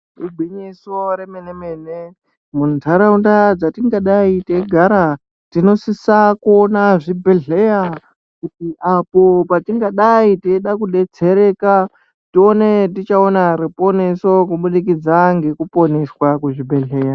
Igwinyiso remene mene munharaunda dzatingadayi teigara tinosisa kuona zvibhedhlerakuti apo patingadayi teida kudetsereka tione tichaona ruponeso kubudikidza ngeruponeso rwatingadayi teiona muzvibhedhlera.